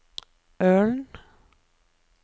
Ølen